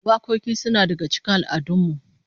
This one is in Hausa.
Wakoki suna daga cikin al'adun mu